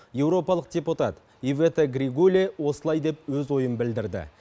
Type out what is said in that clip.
еуропалық депутат ивета григуле осылай деп өз ойын білдірді